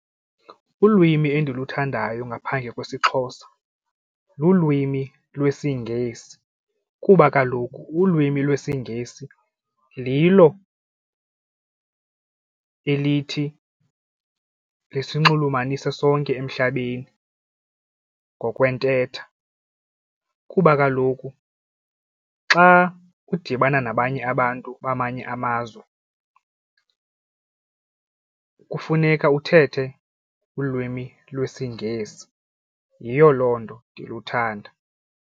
Ulwimi endiluthandayo ngaphandle kwesiXhosa lulwimi lwesiNgesi kuba kaloku ulwimi lwesNgesi lilo elithi lisinxulumanise sonke emhlabeni ngokwentetha kuba kaloku xa udibana nabanye abantu bamanye amazwe kufuneka uthethe ulwimi lwesiNgesi. Yiyo loo nto ndiluthanda.